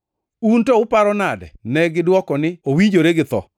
Un to uparo nade?” Negidwoko niya, “Owinjore gi tho.”